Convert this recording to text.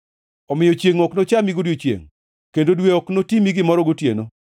omiyo chiengʼ ok nochami godiechiengʼ kendo dwe ok notimi gimoro gotieno.